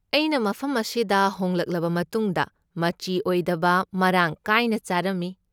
ꯑꯩꯅ ꯃꯐꯝ ꯑꯁꯤꯗ ꯍꯣꯡꯂꯛꯂꯕ ꯃꯇꯨꯡꯗ ꯃꯆꯤ ꯑꯣꯏꯗꯕ ꯃꯔꯥꯡ ꯀꯥꯏꯅ ꯆꯥꯔꯝꯃꯤ꯫